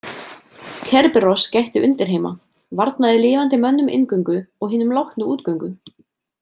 Kerberos gætti undirheima, varnaði lifandi mönnum inngöngu og hinum látnu útgöngu.